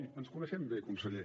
i ens coneixem bé conseller